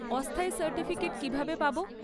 অস্থায়ী সার্টিফিকেট কীভাবে পাবো?